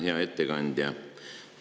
Hea ettekandja!